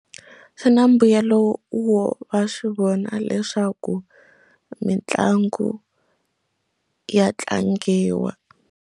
Swi na mbuyelo wo va swi vona leswaku mitlangu ya tlangiwa.